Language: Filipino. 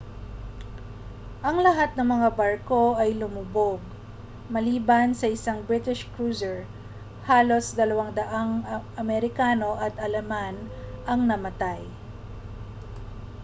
ang lahat ng mga barko ay lumubog maliban sa isang british cruiser halos 200 amerikano at aleman ang namatay